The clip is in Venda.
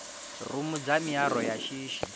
rumu dza miaro ya shishi